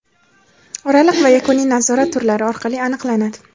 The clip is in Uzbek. oraliq va yakuniy nazorat turlari orqali aniqlanadi.